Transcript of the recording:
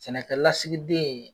Sɛnɛkɛlasigi den